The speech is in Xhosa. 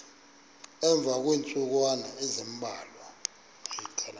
emva kweentsukwana ezimbalwa